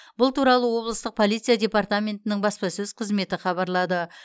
бұл туралы облыстық полиция департаментінің баспасөз қызметі хабарлады